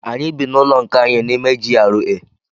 Anyị bị n'ụlọ nke anyị n'ime GRA.